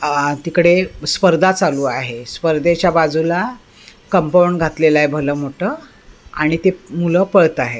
आहा तिकडे स्पर्धा चालू आहे स्पर्धेच्या बाजूला कंपाऊंड घातलेलं आहे भलं मोठं आणि ते मुलं पळत आहे.